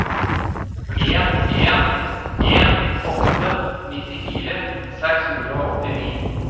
en en en åtte nittifire seks hundre og åttini